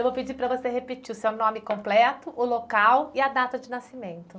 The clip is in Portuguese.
Eu vou pedir para você repetir o seu nome completo, o local e a data de nascimento.